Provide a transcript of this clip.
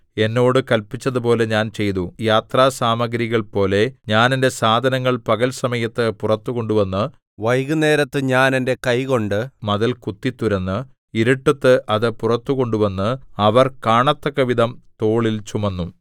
എന്നോട് കല്പിച്ചതുപോലെ ഞാൻ ചെയ്തു യാത്രാസാമഗ്രികൾപോലെ ഞാൻ എന്റെ സാധനങ്ങൾ പകൽ സമയത്ത് പുറത്തു കൊണ്ടുവന്ന് വൈകുന്നേരത്ത് ഞാൻ എന്റെ കൈകൊണ്ട് മതിൽ കുത്തിത്തുരന്ന് ഇരുട്ടത്ത് അത് പുറത്തു കൊണ്ടുവന്ന് അവർ കാണത്തക്കവിധം തോളിൽ ചുമന്നു